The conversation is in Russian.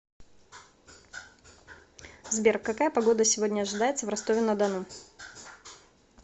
сбер какая погода сегодня ожидается в ростове на дону